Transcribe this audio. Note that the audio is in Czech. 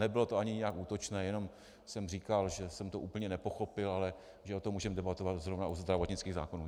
Nebylo to ani nijak útočné, jenom jsem říkal, že jsem to úplně nepochopil, ale že o tom můžeme debatovat zrovna u zdravotnických zákonů.